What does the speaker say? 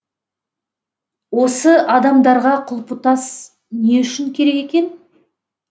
осы адамдарға құлпытас не үшін керек екен